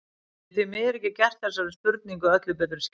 Ég get því miður ekki gert þessari spurningu öllu betri skil.